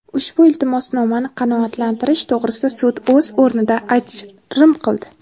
Ushbu iltimosnomani qanoatlantirish to‘g‘risida sud o‘z o‘rnida ajrim qildi.